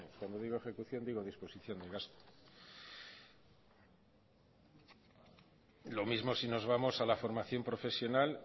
vamos cuando digo ejecución digo disposición en gasto lo mismo si nos vamos a la formación profesional